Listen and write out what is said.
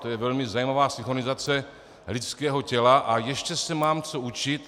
To je velmi zajímavá synchronizace lidského těla a ještě se mám co učit.